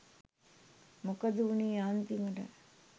මොකද වුනේ අන්තිමට?